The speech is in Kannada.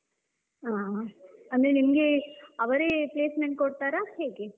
ಹಾ, ಅಂದ್ರೆ ನಿಮ್ಗೆ ಅವರೇ placement ಕೊಡ್ತಾರಾ ಹೇಗೆ?